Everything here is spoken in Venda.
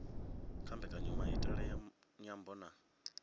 kha mbekanyamaitele ya nyambo na